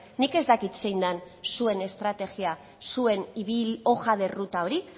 nik ez dakit zein den zuen estrategia zuen hoja de ruta hori